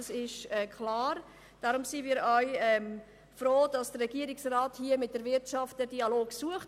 Deshalb sind wir auch froh, dass der Regierungsrat den Dialog mit dieser sucht.